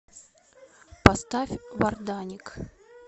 поставь варданик